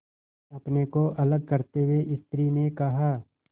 अपने को अलग करते हुए स्त्री ने कहा